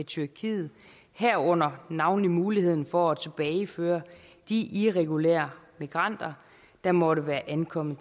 tyrkiet herunder navnlig muligheden for at tilbageføre de irregulære migranter der måtte være ankommet